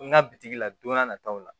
N ka bitigi la don n'a nataw la